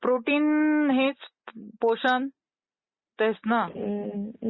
Protein हेच पोषण आहेच न ?